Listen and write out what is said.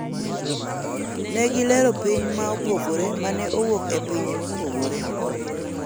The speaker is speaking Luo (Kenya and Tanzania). ne gilero piny ma opogore mane owuoke, pinye mopogore